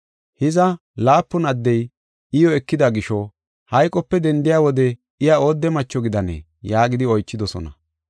Hiza, laapun addey iyo ekida gisho hayqope dendiya wode iya oodde macho gidanee?” yaagidi oychidosona.